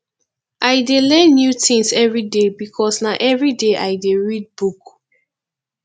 i dey learn new tins everyday because na everyday i dey read book